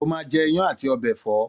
Ó máa je iyán àti ọbẹ̀ ẹ̀fọ́